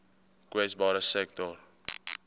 kwesbare sektore